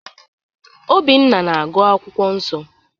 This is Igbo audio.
Obinna na-agụ akwụkwọ nsọ.